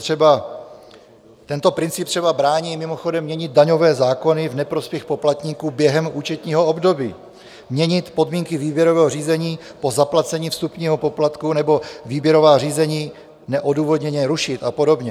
Tento princip třeba brání mimochodem měnit daňové zákony v neprospěch poplatníků během účetního období, měnit podmínky výběrového řízení po zaplacení vstupního poplatku nebo výběrová řízení neodůvodněně rušit a podobně.